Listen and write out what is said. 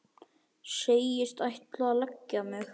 Segist ætla að leggja mig.